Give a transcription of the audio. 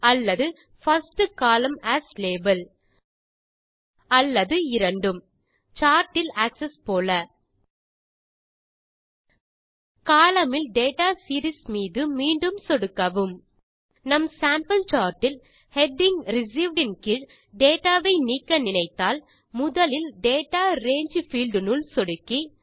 அல்லது first column as label அல்லது இரண்டும் chart இல் ஆக்ஸஸ் போல கோலம்ன் இல் டேட்டா சீரீஸ் மீது மீண்டும் சொடுக்கவும் நம் சேம்பிள் chartஇல் ஹெடிங் ரிசீவ்ட் ன் கீழ் டேட்டா வை நீக்க நினைத்தால் முதலில்Data ரங்கே பீல்ட் னுள் சொடுக்கி